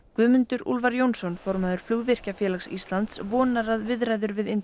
Guðmundur Úlfar Jónsson formaður flugvirkjafélags Íslands vonar að viðræður við